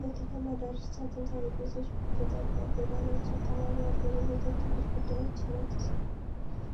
በከተማ ዳርቻ ጥንታዊ ቤቶች በጠባብ ጎዳናዎች አካባቢ አሉ። የቤቶቹ ግድግዳዎች ነጭ